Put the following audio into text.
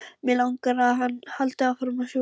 Mig langar að hann haldi áfram að sjúga mig.